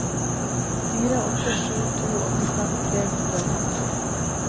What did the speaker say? fire åtte sju to åttifem tre hundre og femti